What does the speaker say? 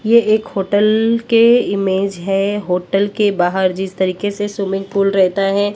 ये एक होटल के इमेज है होटल के बाहर जिस तरीके से स्विमिंग पूल रहता है--